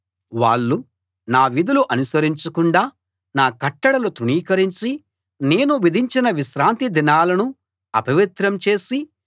వాళ్ళు నా విధులు అనుసరించకుండా నా కట్టడలు తృణీకరించి నేను విధించిన విశ్రాంతిదినాలను అపవిత్రం చేసి